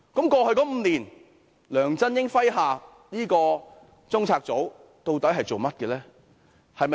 過去5年，在梁振英麾下的中策組究竟做過甚麼呢？